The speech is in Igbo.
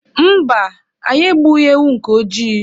Mba, anyị egbughị ewu nke ojii.